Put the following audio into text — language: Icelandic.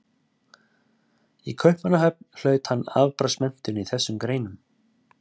Í Kaupmannahöfn hlaut hann afbragðsmenntun í þessum greinum.